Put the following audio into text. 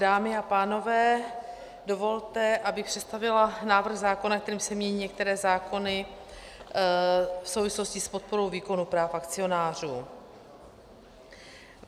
Dámy a pánové, dovolte, abych představila návrh zákona, kterým se mění některé zákony v souvislosti s podporou výkonu práv akcionářů.